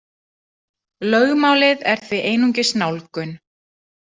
Lögmálið er því einungis nálgun.